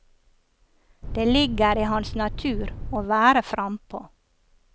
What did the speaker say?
Det ligger i hans natur å være frempå.